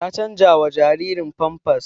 Ta canjawa jaririn famfas